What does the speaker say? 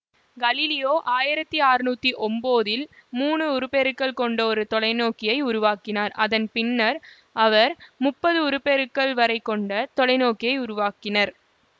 Galileo ஆயிரத்தி ஆர்நூத்தி ஒன்பதில் மூனு உருப்பெருக்கல் கொண்ட ஒரு தொலைநோக்கியை உருவாக்கினார் அதன் பின்னர் அவர் முப்பது உருபெருக்கல் வரை கொண்ட தொலைநோக்கிகளை உருவாக்கினர்